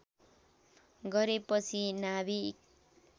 गरे पछि नाभिक